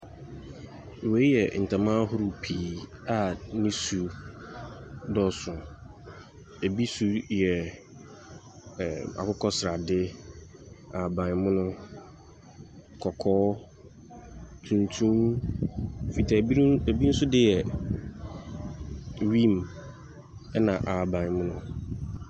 Wei yɛ ntama ahorow pii a ne su dɔɔ so, bi su yɛ ɛɛ akokɔsrade, ahabanmono, kɔkɔɔ, tuntum, fitaa, binom bi nso de yɛ green na ahabanmono.